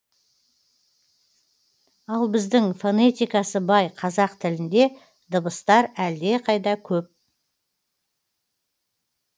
ал біздің фонетикасы бай қазақ тілінде дыбыстар әлдеқайда көп